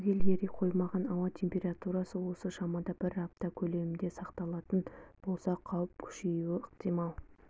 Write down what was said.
түгел ери қоймаған ауа температурасы осы шамада бір апта көлемінде сақталатын болса қауіп күшейуі ықтимал